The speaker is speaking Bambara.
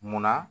Munna